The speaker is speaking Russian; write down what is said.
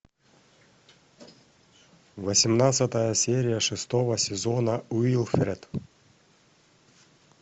восемнадцатая серия шестого сезона уилфред